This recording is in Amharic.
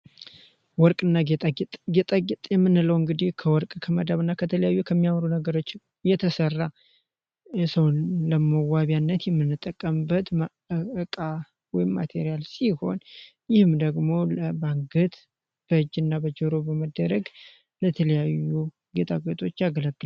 ወርቅና ጌጣጌጥጥ የምንለው እንግዲህ ከወርቅ ከመደበ ከተለያዩ ከሚያወሩ ነገሮችን የተሰራው መዋቢያነት የምንጠቀምበት ሲሆን ደግሞ